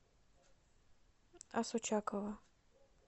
асочакова